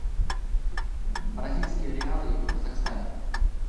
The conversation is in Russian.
бразильские реалы в казахстане